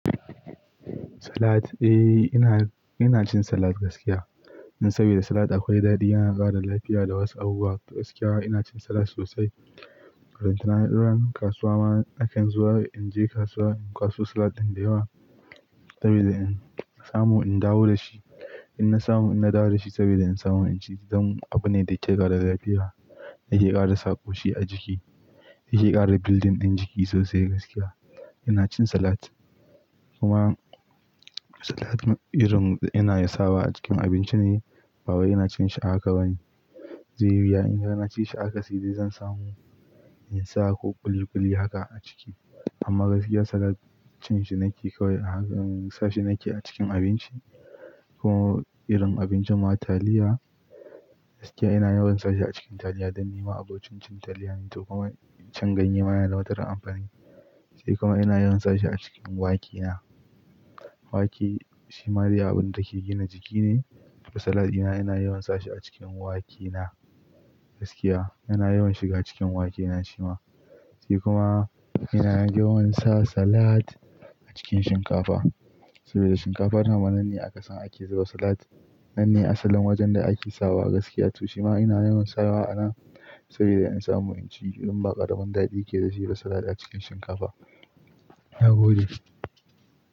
Salad, eh ina, ina cin salad gaskiya. Saboda salad akwai daɗi, yana ƙara lafiya da wasu abubuwa. Gaskiya ina cin salad sosai. ꞉Ran kasuwa ma na kan zuwa, in je kasuwa, in kwaso salad din da yawa saboda in samu in dawo da shi. In na samu, in na dawo da shi saboda in samu in ci, dam abune da yake ƙara lafiya, yake ƙara saƙoshi a jiki, yake ƙara building ɗin jiki sosai gaskiya. Ina cin salad kuma salad irin ina yasawa a cikin abinci ne, babu ina cin shi ahaka bane. Zai yi wuya in har na ci shi haka sai dai zan samu in sa ko ƙuli ƙuli haka a ciki. Amma gaskiya salad cin shi nake kawai a haka, in sa shi nake a cikin abinci ko irin abincin ma taliya. Gaskiya ina yawan sa shi a cikin taliya don ni ma abocin cin taliya ne tokuma. Cin ganye ma yana da matuƙar amfani. Sai kuma ina yawan sa shi a cikin wake na. Wake shima dai abun da ke gina jiki ne, to salad ina, ina yawan sa shi a cikin wake na gaskiya. Ina yawan shiga cikin wake na shima. Sai kuma ina yawan sa salad a cikin shinkafa saboda shinkafa ta ma nan ne a kasan ake zuba salad. Nan ne asalin wajen da ake sawa gaskiya tu. Shima ina yawan sawa ana saboda in samu in ci, irin ba ƙaramin daɗi yake da shi salad a cikin shinkafa. Na gode.